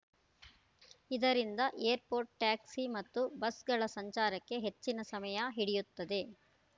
ಇದರಿಂದ airport taxi ಮತ್ತು ಬಸ್‌ಗಳ ಸಂಚಾರಕ್ಕೆ ಹೆಚ್ಚಿನ ಸಮಯ ಹಿಡಿಯುತ್ತದೆ